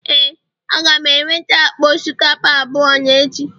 Ee, Aga m enweta akpa osikapa abụọ n'echi